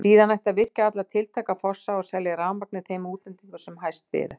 Síðan ætti að virkja alla tiltæka fossa og selja rafurmagnið þeim útlendingum sem hæst byðu.